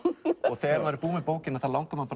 þegar maður er búinn með bókina langar mann